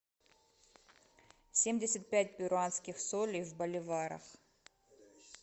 семьдесят пять перуанских солей в боливарах